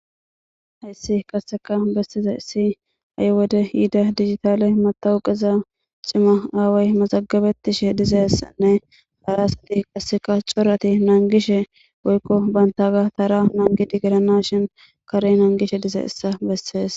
Hayssi qasseka bessizays ha7i wode yiida digitale matawoqiza cima aaway mazagabetishe dizessanne arasti qasseka corati naangishe woykko bantaga tara nangidi giranashin kare naangishe dizaysa bessees